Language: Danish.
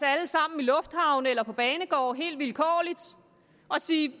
alle sammen i lufthavne eller på banegårde helt vilkårligt og sige